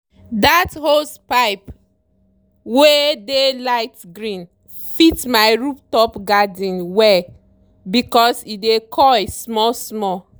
dat hosepipe wey dey light green fit my rooftop garden well because e dey coil small-small.